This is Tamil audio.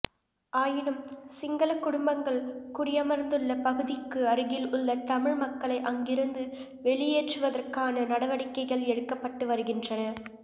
ஆயினும் சிங்களக் குடும்பங்கள் குடியமர்ந்துள்ள பகுதிக்கு அருகில் உள்ள தமிழ் மக்களை அங்கிருந்து வெளியேற்றுவதற்கான நடவடிக்கைகள் எடுக்கப்பட்டு வருகின்றன